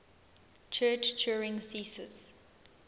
church turing thesis